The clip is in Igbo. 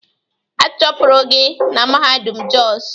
A chụpụrụ gị na mahadum Jos.!